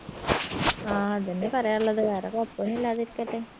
ആ അതെന്നെ പറയാനുള്ളത് വേറെ കൊഴപ്പൊന്നു ഇല്ലാതിരിക്കട്ടെ